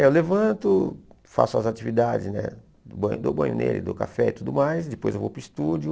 Eu levanto, faço as atividades né, banho dou banho nele, dou café e tudo mais, depois eu vou para o estúdio.